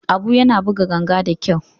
Abu yana buga ganga da kyau.